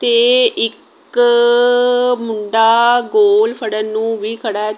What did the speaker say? ਤੇ ਇੱਕ ਮੁੰਡਾ ਗੋਲ ਫੜਨ ਨੂੰ ਵੀ ਖੜਾ ਹੈ।